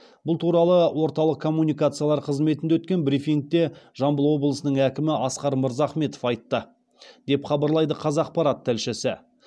бұл туралы орталық коммуникациялар қызметінде өткен брифингте жамбыл облысының әкімі асқар мырзахметов айтты деп хабарлайды қазақпарат тілшісі